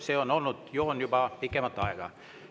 See on olnud joon juba pikemat aega.